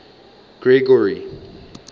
gregory